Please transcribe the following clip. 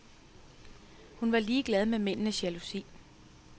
Hun var ligeglad med mændenes jalousi.